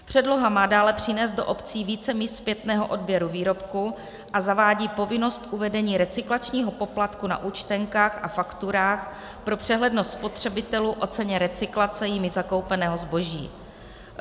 Předloha má dále přinést do obcí více míst zpětného odběru výrobku a zavádí povinnost uvedení recyklačního poplatku na účtenkách a fakturách pro přehlednost spotřebitelů o ceně recyklace jimi zakoupeného zboží.